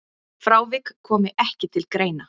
Frávik komi ekki til greina.